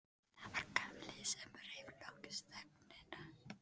Það var Gamli sem rauf loks þögnina.